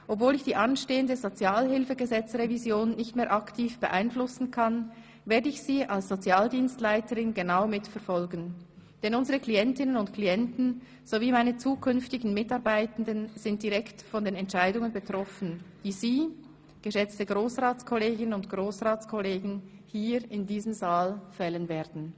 Obwohl ich die anstehende Sozialhilfegesetzesrevision nicht mehr aktiv beeinflussen kann, werde ich sie als Sozialdienstleiterin genau mitverfolgen, denn unsere Klientinnen und Klienten sowie meine zukünftigen Mitarbeitenden sind direkt von den Entscheidungen betroffen, die Sie – geschätzte Grossratskolleginnen und Grossratskollegen – hier in diesem Saal fällen werden!